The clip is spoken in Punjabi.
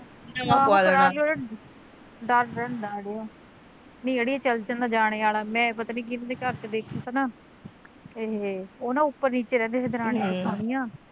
ਨਹੀਂ ਚੱਲ ਜਾਂਦੇ ਅੜੀਏ ਜਾਣੇ ਆਲਾ ਮੈਂ ਪਤਾ ਨੀ ਕਿਹਨਾ ਦੇ ਘਰ ਚ ਦੇਖਿਆ ਤਾਂ ਨਾ ਏਹ ਉਹ ਨਾ ਉੱਪਰ ਨੀਚੇ ਰਹਿੰਦੇ ਤੇ ਦਰਣੀਆਂ ਜਠਣੀਆਂ